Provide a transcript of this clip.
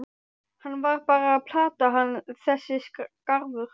Hann var bara að plata hann þessi skarfur.